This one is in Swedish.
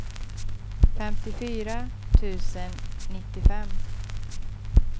femtiofyra tusen nittiofem